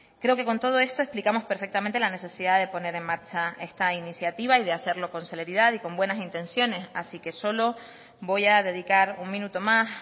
creo que con todo esto explicamos perfectamente la necesidad de poner en marcha esta iniciativa y de hacerlo con celeridad y con buenas intenciones así que solo voy a dedicar un minuto más